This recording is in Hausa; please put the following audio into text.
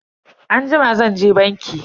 Anjima zanje banki.